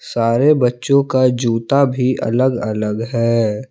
सारे बच्चों का जूता भी अलग अलग है।